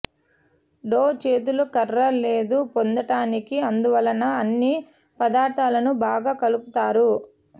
డౌ చేతులు కర్ర లేదు పొందటానికి అందువలన అన్ని పదార్ధాలను బాగా కలుపుతారు